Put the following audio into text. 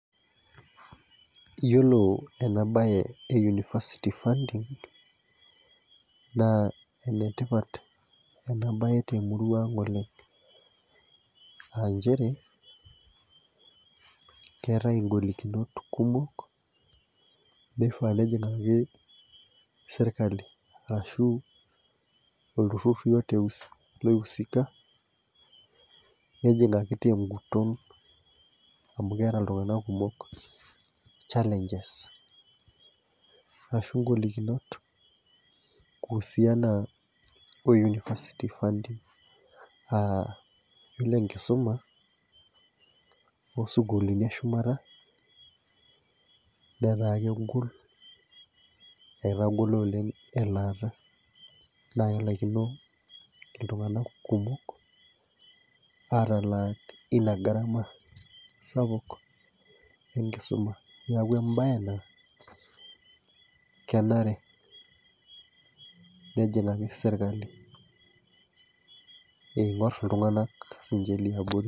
Iyiolo ene bae e university funding ene tipat ena bae temurua ang' oleng, aa. nchere keetae igolikinot kumok, neifaa nejingaki sirkali arashu olturur yeyote loisika, nejingaki te nguton amu keeta iltunganak kumok challenges ashu golikinot kuusiana o university funding aa iyiolo enkisuma too sukuulini eshumata, metaa kegol, etagolo oleng elaata. naa kelaikino iltunganak kumok, aatalak Ina gara sapuk enkisuma. neeku ebae naa, kenare nejingaki sirkali eing'or iltunganak liabori.